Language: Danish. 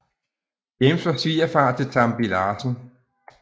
James var svigerfar til Tambi Larsen